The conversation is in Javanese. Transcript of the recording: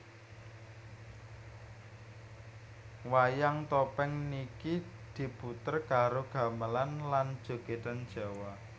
Wayang topeng niki diputer karo gamelan lan jogedan Jawa